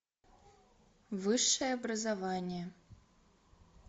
высшее образование